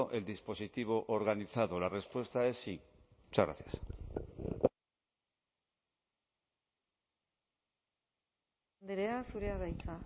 el dispositivo organizado la respuesta es sí muchas gracias andrea zurea da hitza